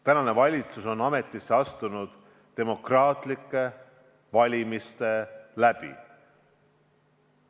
Tänane valitsus on ametisse astunud demokraatlike valimiste kaudu.